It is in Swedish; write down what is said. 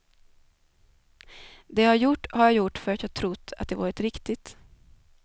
Det jag gjort har jag gjort för att jag trott att det varit riktigt.